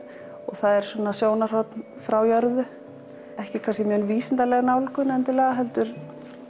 það er sjónarhorn frá jörðu ekki kannski mjög vísindaleg nálgun heldur